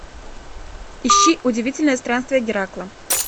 ищи удивительные странствия геракла